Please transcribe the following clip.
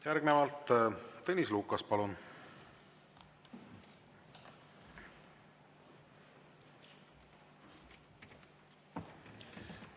Järgnevalt Tõnis Lukas, palun!